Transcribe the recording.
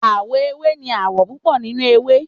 Àwọ̀ ewé ni àwọ̀ púpọ̀ nínú ewé